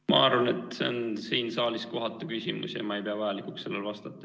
Ma arvan, et see on siin saalis kohatu küsimus ja ma ei pea vajalikuks sellele vastata.